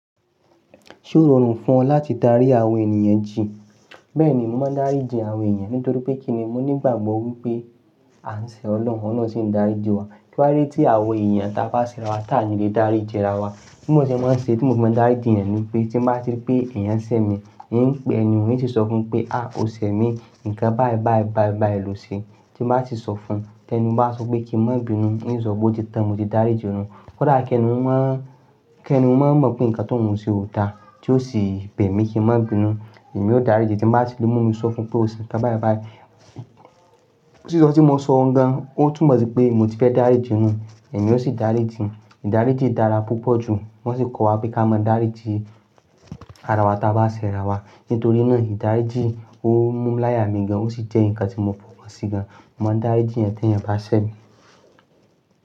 Ṣé ó rọrùn fún ọ láti dárí àwọn ènìyàn jì? Bẹ́ẹ̀ni, mo máa ń dáríji àwọn ènìyàn nítorí pé kíni, mo nígbàgbọ́ pé a ń ṣẹ ọlọ́run náà sì ń dáríji wa. Kí wá dé tí àwọn èèyàn ta bá sẹ ra wa tàní lè dáríji ara wa. Bí mo ṣe máa ń ṣe tí mo fi máa dáríji ènìyàn ni pé tí bá ti rí pe èèyàn ń sẹ mi, n ó pe ẹniyàn n ó sì sọ fún un pé "à o ṣẹ mi, nǹkan báì báì báì báì lo ṣe", tí máa sì sọ fún un. Kẹ́ni bá sọ pé kí n má bímọ, n ó sọ pé o ti tàn, mo ti dáríji. Kódà kẹ́ni ó má kẹ́ni ó má mọ̀ pé nǹkan tó hun ṣe oòda tí ó sì bẹ̀ mí kí n má bínú, èmi ó dáríji tí máa sì ló mú mi sọ fún un pé ó sì ṣe nǹkan báì báì. Sì sọ tí mo ṣọ gan, ó tún mọ̀ pé mo ti fẹ́ dáríji nu, èmi ó sì dáríji. Ìdáríjì dára púpọ̀ jù, wọ́n sì kọ́ wa pé ká mọ́ dáríji ara wa ta bá sẹ ra wa. Nítorí náà ìdáríjì ó mú láyà mi gan, ó sì jẹ́ nǹkan tí mo fọwọ́ sí gan. Mo máa ń dáríjì èèyàn tí èèyàn bá ṣẹ mi.